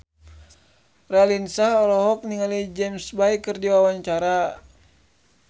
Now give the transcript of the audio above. Raline Shah olohok ningali James Bay keur diwawancara